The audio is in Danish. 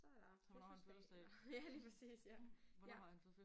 Så er der fødselsdag ja lige præcis ja ja